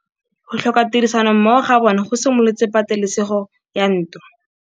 Go tlhoka tirsanommogo ga bone go simolotse patêlêsêgô ya ntwa.